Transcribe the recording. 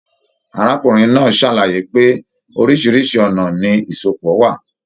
Arákùnrin náà sàlàyé pé, oríṣiríṣi ọnà ni isọpọ wà.